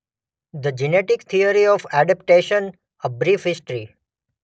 The genetic theory of adaptation a brief history.